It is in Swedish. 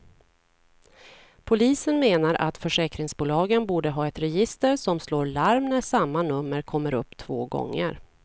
Polisen menar att försäkringsbolagen borde ha ett register som slår larm när samma nummer kommer upp två gånger.